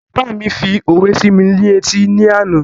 Bàbá mi fi òwe sí mi ní etí ni àná